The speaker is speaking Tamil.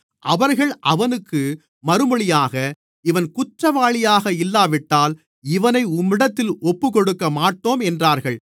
அவர்கள் அவனுக்கு மறுமொழியாக இவன் குற்றவாளியாக இல்லாவிட்டால் இவனை உம்மிடத்தில் ஒப்புக்கொடுக்கமாட்டோம் என்றார்கள்